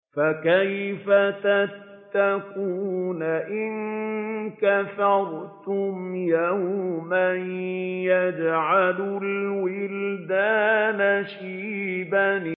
فَكَيْفَ تَتَّقُونَ إِن كَفَرْتُمْ يَوْمًا يَجْعَلُ الْوِلْدَانَ شِيبًا